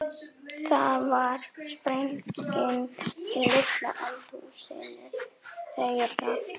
Það varð sprenging í litla eldhúsinu þeirra.